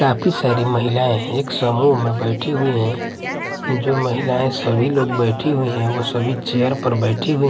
काफी सारी महिलाएं एक समूह में बैठी हुईं हैं जो महिलाये सभी लोग बैठी हुईं हैं वे सभी चेयर पर बैठी हुई --